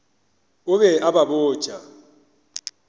o be a ba botša